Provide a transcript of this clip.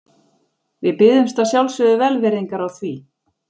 Við biðjumst að sjálfsögðu velvirðingar á því.